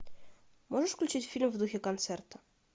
можешь включить фильм в духе концерта